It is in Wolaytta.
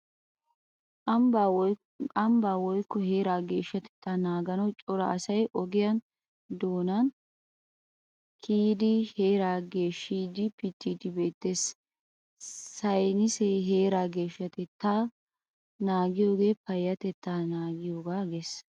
Ambbaa woykko heeraa geeshshatettaa naaganawu cora asay ogiya doonan kiyidi heeraa geeshshiiddinne pittiiddi beettees. Saynnisee heraa geeshshatettaa naagiyogee payyatettaa naagiyogaa yaagees.